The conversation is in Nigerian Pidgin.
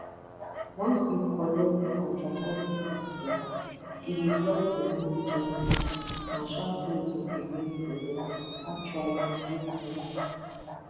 once you collect contraceptive implant e dey drop hormone gently na sharp way to prevent belle actually e make sense